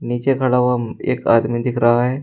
नीचे खड़ा हुआ एक आदमी दिख रहा है।